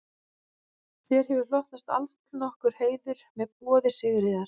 Þér hefur hlotnast allnokkur heiður með boði Sigríðar